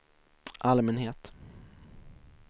allmänhet